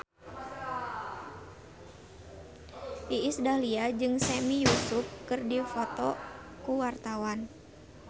Iis Dahlia jeung Sami Yusuf keur dipoto ku wartawan